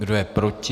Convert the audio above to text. Kdo je proti?